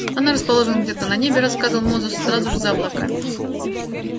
она расположена где-то на небе рассказывал мозус сразу же за облаками